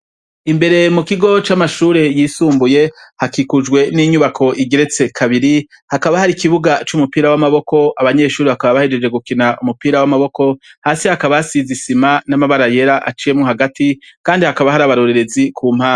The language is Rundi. Imbere mu kigo camashure yisumbuye hakikujwe ninyubako igeretse kabiri hakaba hari ikibuga cumupira wamaboko abanyeshure bakaba bahejeje gukina umupira wamaboko hasi hakaba hasize isima n'abara yera aciyemwo hagati kandi hakaba hari abarorerezi kumpande.